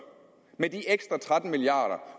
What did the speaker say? med de ekstra tretten milliard